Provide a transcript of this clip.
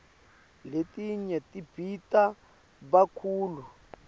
letinye tibita kakhulu